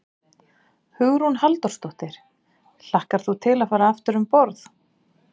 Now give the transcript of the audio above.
Hugrún Halldórsdóttir: Hlakkar þú til að fara aftur um borð?